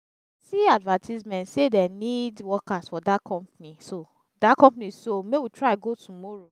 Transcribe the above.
see advertisement say dey need workers for dat company so dat company so make we try go tomorrow